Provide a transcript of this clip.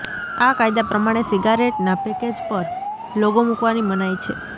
આ કાયદા પ્રમાણે સિગારેટના પેકેજ પર લોગો મુકવાની મનાઈ છે